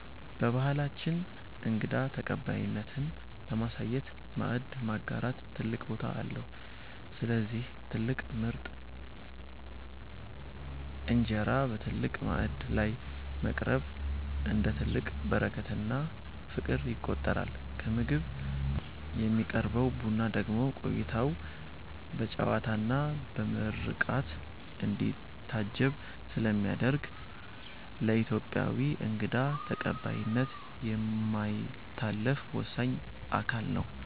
በባህላችን እንግዳ ተቀባይነትን ለማሳየት "ማዕድ ማጋራት" ትልቅ ቦታ አለው፤ ስለዚህ ትልቅ ምርጥ እንጀራ በትልቅ ማዕድ ላይ ማቅረብ፣ እንደ ትልቅ በረከትና ፍቅር ይቆጠራል። ከምግብ በኋላ የሚቀርበው ቡና ደግሞ ቆይታው በጨዋታና በምርቃት እንዲታጀብ ስለሚያደርግ፣ ለኢትዮጵያዊ እንግዳ ተቀባይነት የማይታለፍ ወሳኝ አካል ነው።